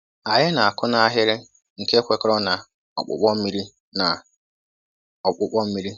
Anyị na-akụ n'ahịrị nke kwekọrọ na ọkpụkpọ mmiri. na ọkpụkpọ mmiri.